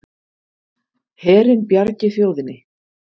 Herinn bjargi þjóðinni